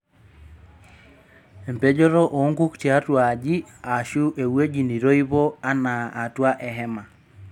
Empejoto oonkuk tiatua aji aashu ewuaji neitoipo anaa atua ehema.